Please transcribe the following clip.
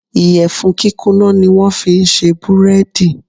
Ìyẹ̀fun kíkúnná ni wón fi ń ṣe búrẹ́dì.